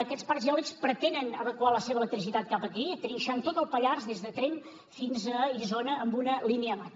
aquests parcs eòlics pretenen evacuar la seva electricitat cap aquí trinxant tot el pallars des de tremp fins a isona amb una línia mat